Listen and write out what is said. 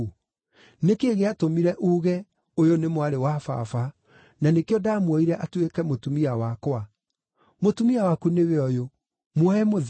Nĩ kĩĩ gĩatũmire uuge, ‘Ũyũ nĩ mwarĩ wa baba,’ na nĩkĩo ndaamuoire atuĩke mũtumia wakwa? Mũtumia waku nĩwe ũyũ! Muoye mũthiĩ!”